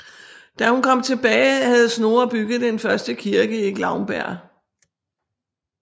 Da hun kom tilbage havde Snorre bygget den første kirke i Glaumbær